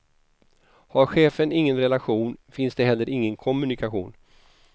Har chefen ingen relation finns det heller ingen kommunikation.